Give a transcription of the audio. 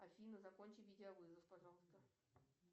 афина закончи видеовызов пожалуйста